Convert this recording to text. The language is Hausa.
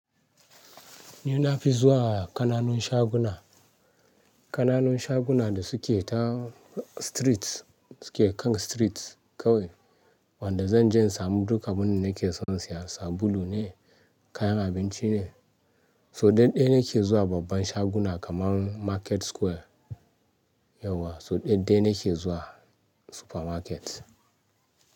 Ni na fi zuwa kananun shaguna, kananun shaguna da suke ta streets, suke kan streets kawai. Wanda zan je in samu duka abin da nake son siya, sabulu ne, kayan abinci ne. So daɗɗe nake zuwa babban shaguna kamar Market Square yauwa, so daɗɗe nake zuwa supermarket.